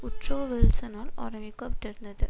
Woodrow வில்சனால் ஆரம்பிக்கப்பட்டிருந்தது